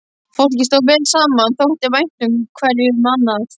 Fólkið stóð vel saman, þótti vænt hverju um annað.